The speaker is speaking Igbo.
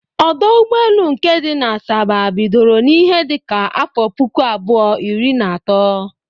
Ọdọ ụgbọelu nke dị na Asaba bidoro n'ihe dịka afọ puku abụọ, iri na atọ